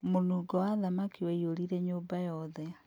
Mũnungo wa thamaki waiyũrire nyũmba yothe